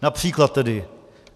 Například tedy: